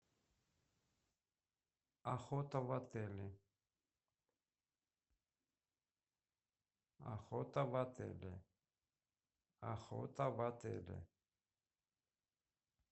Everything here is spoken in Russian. охота в отеле охота в отеле охота в отеле